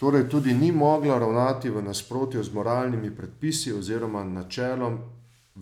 Torej tudi ni mogla ravnati v nasprotju z moralnimi predpisi oziroma načelom